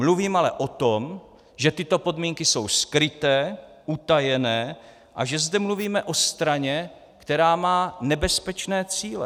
Mluvím ale o tom, že tyto podmínky jsou skryté, utajené a že zde mluvíme o straně, která má nebezpečné cíle.